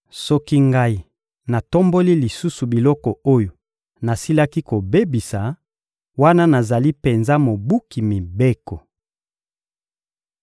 Soki ngai natomboli lisusu biloko oyo nasilaki kobebisa, wana nazali penza mobuki mibeko.